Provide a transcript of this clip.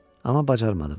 Amma bacarmadım.